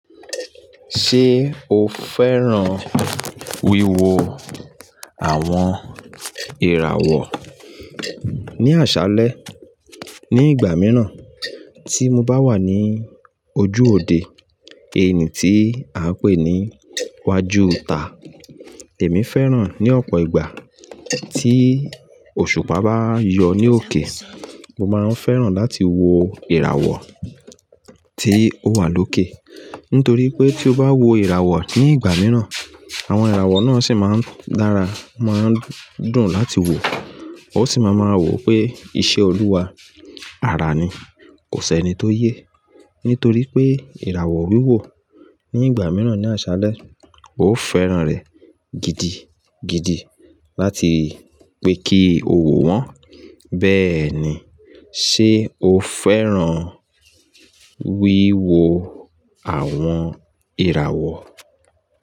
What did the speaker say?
Ṣé o fẹ́ràn wíwo àwọn ìràwọ̀ ní àṣálẹ́ ní ìgbà mìíràn tí mo bá wà ní ojú òde èní tí a ń pè ní iwájú ta. Èmi fẹ́ràn ní ọ̀pọ̀ ìgbà tí òṣùpá bá yọ ní òkè. Mo máa ń fẹ́ràn láti wo ìràwọ̀ tí ó wà lókè. Nítorí pé tí o bá wo ìràwọ̀ ní ìgbà mìíràn, àwọn ìràwọ̀ náà sì máa ń dára, máa ń dùn láti wo. O sì máa mọ wípé iṣẹ́ Olúwa ara ni, kò sẹ́ni tó yé. Nítorí pé ìràwọ̀ wíwò ní ìgbà mìíràn ní àṣálẹ́, ó fẹ́ràn rẹ̀ gidi gidi láti pé kí ó wò wọ́n. Bẹ́ẹ̀ni, ṣe o fẹ́ràn wíwo àwọn ìràwọ̀?